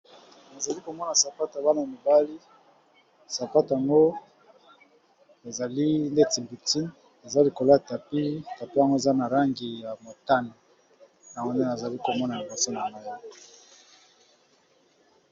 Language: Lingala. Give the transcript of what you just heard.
Nazali komona sapatu ya bana mibali sapatu yango ezali ndeti victime ezali likolo ya tapi, tapi yango eza na langi ya motane ya go nde nazali komona liboso na ngai.